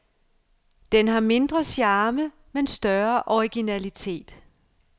Den har mindre charme, men større originalitet.